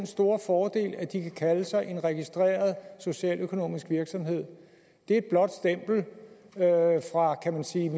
store fordel at de kan kalde sig en registreret socialøkonomisk virksomhed det er et blåt stempel kan man sige